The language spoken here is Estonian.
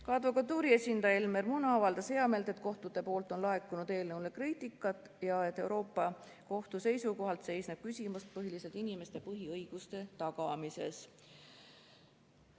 Ka Eesti Advokatuuri esindaja Elmer Muna avaldas heameelt, et kohtutelt on laekunud eelnõu kohta kriitikat ja et Euroopa Liidu Kohtu seisukohalt seisneb küsimus põhiliselt inimeste põhiõiguste tagamises.